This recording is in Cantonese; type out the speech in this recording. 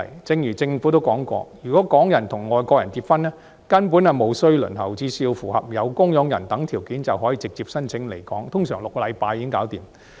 正如政府也說過，如果港人與外國人結婚，其外國家屬根本無須輪候，只須符合有供養人等條件，便可以直接申請來港，通常6星期便完成審批。